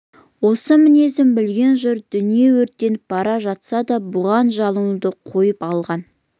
осы мінезін білген жұрт дүние өртеніп бара жатса да бұған жалынуды қойып алған